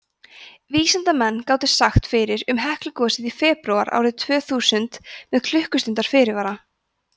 vísindamenn gátu sagt fyrir um heklugosið í febrúar árið tvö þúsund með klukkustundar fyrirvara